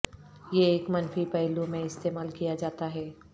یہ ایک منفی پہلو میں استعمال کیا جاتا ہے